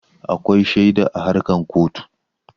Akwai shaidu a harkan kotu.